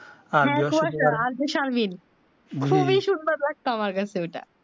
খুবি সুন্দর লাগতো আমার কাছে ঐ টা